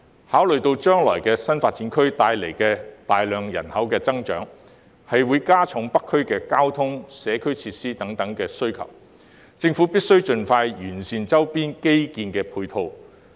考慮到將來新發展區帶來的大幅人口增長，會加重北區的交通、社區設施等需求，政府必須盡快完善周邊基建配套。